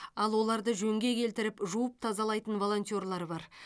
ал оларды жөнге келтіріп жуып тазалайтын волонтерлар бар